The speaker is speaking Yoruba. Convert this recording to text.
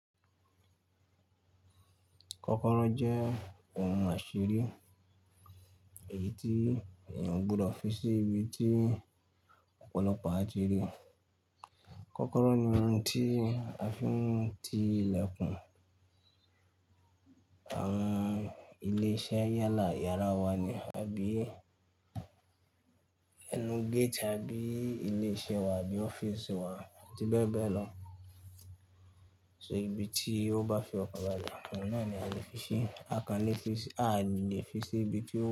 Kọ́kọ́rọ́ jẹ́ ohun àṣírí èyí tí èyan ogbọdọ̀ fi sí ibi tí ọ̀pọ̀lọpọ̀ atiri. Kọ́kọ́rọ́ ni ohun tí a fi ń ti ilẹ̀kùn àwọn ilé-iṣẹ́ yálà, yàrá wa ni, àbí ẹnu gate àbí ilé iṣẹ́ wa àbí ọ́fíìsì wa àbí bẹ́ẹ̀ bẹ́ẹ̀ lọ. So ìbí tí ó bá fi ọkan bàlẹ́, ohun náà ni a lè fi sí, a kàn lè fi sí, a lè fi sí ibi tí ó.